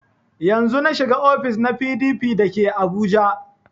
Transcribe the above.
Yanzun na shiga ofis na PDP da ke abuja